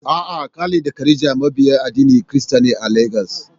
A'a, Khalid da Khadija mabiya addinin Kirista ne a Legas.